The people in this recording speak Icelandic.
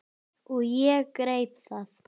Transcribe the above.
Og ég greip það.